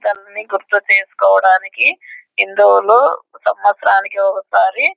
అనీ గుర్తు చేసుకోవడానికి హిందువులు సంవత్సరానికి ఒకసారి --